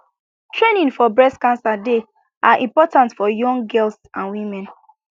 training for breast cancer dey ah important for young girl and women